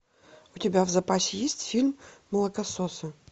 у тебя в запасе есть фильм молокососы